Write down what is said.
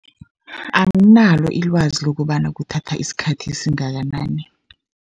Anginalo ilwazi lokobana kuthatha isikhathi esingakanani.